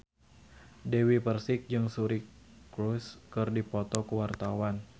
Dewi Persik jeung Suri Cruise keur dipoto ku wartawan